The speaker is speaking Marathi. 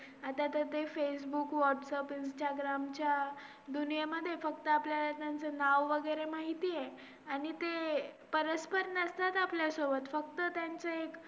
Economics आहेत economics मध्ये gdt green gdt आपली economics कसा develop होतो कसा increase होतो विक्री चे reason काय हायत यांच्या बद्दल आम्हाला files दिले जाते पूर्ण details मध्ये.